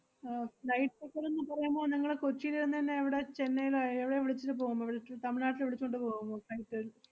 ഏർ flight ticket എന്ന് പറയുമ്പോ നിങ്ങള് കൊച്ചീല് ന്നെന്നെ എവടെ ചെന്നൈലെ എവടെയാ വിളിച്ചിട്ട് പോകുമ്പോ വിളിച്ച് തമിഴ്നാട്ടില് വിളിച്ചോണ്ട് പോവുമോ flight ൽ